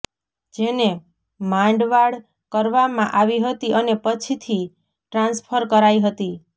જેને માંડવાળ કરવામાં આવી હતી અને પછીથી ટ્રાન્સફર કરાઈ હતી